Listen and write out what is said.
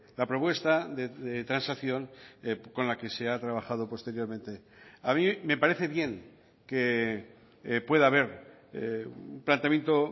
la propuesta de transacción con la que se ha trabajado posteriormente a mí me parece bien que pueda haber un planteamiento